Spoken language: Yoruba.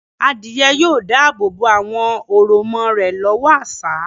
Adìyẹ yóò dáàbò bo àwọn òròmọ rẹ̀ lọ́wọ́ àṣá.